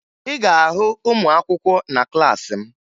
Ị ga-ahụ ụmụakwụkwọ na klaasị m